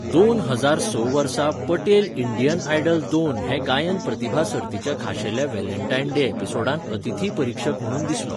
दोन हजार स वर्सा पटेल इंडियन आयडल दोन हे गायन प्रतिभा सर्तीच्या खाशेल्या व्हॅलेंटायन डे एपिसोडांत अतिथी परीक्षक म्हणून दिसलो .